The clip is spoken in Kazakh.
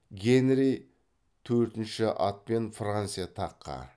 генри төртінші атпен франция таққа